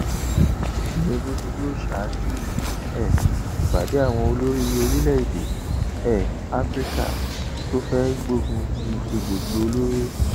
tinubu ni yóò ṣáájú um ìpàdé àwọn olórí orílẹèdè um afrika tó fẹẹ gbógun ti egbòogi olóró